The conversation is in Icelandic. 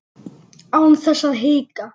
Án þess að hika.